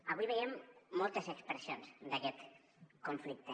avui veiem moltes expressions d’aquest conflicte